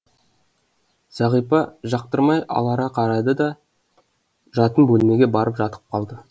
зағипа жақтырмай алара қарады да жатын бөлмеге барып жатып қалды